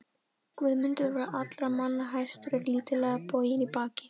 Guðmundur var allra manna hæstur en lítillega boginn í baki.